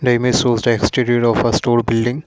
The image shows the exterior of a store building.